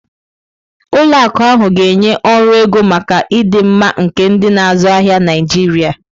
Ụlọ akụ ahụ ga-enye ọrụ ego maka ịdị mma nke ndị na-azụ ahịa Naijiria.